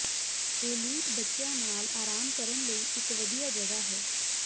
elite ਬੱਚਿਆਂ ਨਾਲ ਆਰਾਮ ਕਰਨ ਲਈ ਇਕ ਵਧੀਆ ਜਗ੍ਹਾ ਹੈ